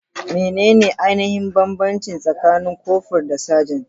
Menene ainihin bambanci tsakanin kofur da sajan?